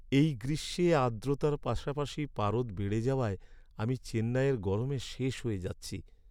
এই গ্রীষ্মে আর্দ্রতার পাশাপাশি পারদ বেড়ে যাওয়ায় আমি চেন্নাইয়ের গরমে শেষ হয়ে যাচ্ছি।